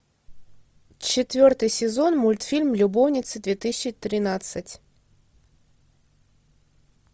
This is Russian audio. четвертый сезон мультфильм любовницы две тысячи тринадцать